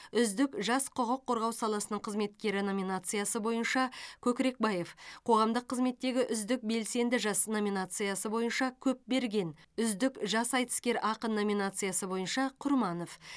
үздік жас құқық қорғау саласының қызметкері номинациясы бойынша көкірекбаев қоғамдық қызметтегі үздік белсенді жас номинациясы бойынша көпберген үздік жас айтыскер ақын номинациясы бойынша құрманов